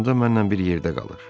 Pansionda mənlə bir yerdə qalır.